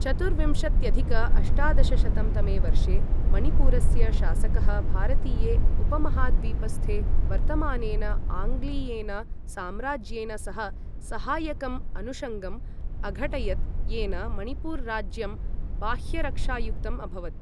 चतुर्विंशत्यधिक अष्टादशशतं तमे वर्षे, मणिपुरस्य शासकः भारतीये उपमहाद्वीपस्थे वर्तमानेन आङ्ग्लीयेन साम्राज्येन सह सहायकम् अनुषङ्गम् अघटयत्, येन मणिपुर राज्यं बाह्यरक्षायुक्तम् अभवत्।